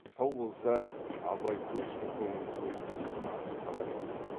сау болса абай көшті көңілді өткізіп асыр салар еді